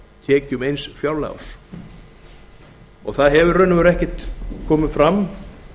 tekjum eins fjárlagaárs það hefur í raun og veru ekkert komið fram